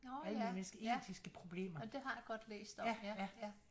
Nårh ja ja nåh det har jeg godt læst om ja